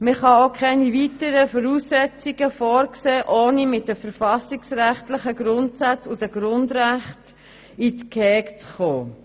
Man kann keine weiteren Voraussetzungen vorsehen, ohne mit den verfassungsrechtlichen Grundsätzen und den Grundrechten ins Gehege zu geraten.